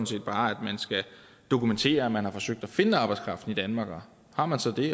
set bare at man skal dokumentere at man har forsøgt at finde arbejdskraften i danmark og har man så det